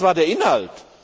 Was war der Inhalt?